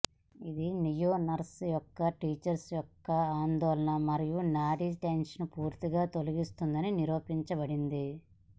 ఇది లియోనరస్ యొక్క టించర్ యొక్క ఆందోళన మరియు నాడీ టెన్షన్ పూర్తిగా తొలగిస్తుంది నిరూపించబడింది